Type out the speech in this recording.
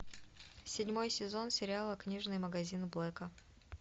седьмой сезон сериала книжный магазин блэка